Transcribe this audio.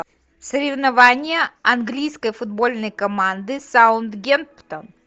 соревнования английской футбольной команды саутгемптон